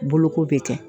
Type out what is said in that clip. Boloko bɛ kɛ